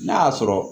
N'a y'a sɔrɔ